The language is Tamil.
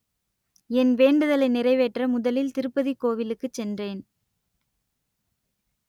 என் வேண்டுதலை நிறைவேற்ற முதலில் திருப்பதி கோவிலுக்கு சென்றேன்